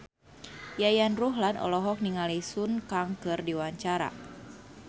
Yayan Ruhlan olohok ningali Sun Kang keur diwawancara